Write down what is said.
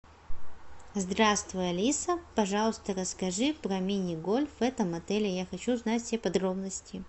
здравствуй алиса пожалуйста расскажи про мини гольф в этом отеле я хочу знать все подробности